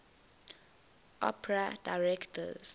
opera directors